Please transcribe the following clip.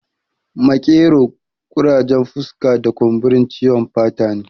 Makero, ƙurajen fuska da kumburi ciwon fata ne